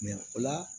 o la